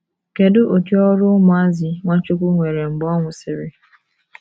Kedu udi ọrụ ụmụazụ Nwachukwu nwere mgbe ọ nwụsịrị?